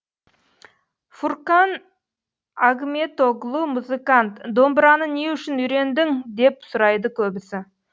фуркан агметоглу музыкант домбыраны не үшін үйрендің деп сұрайды көбісі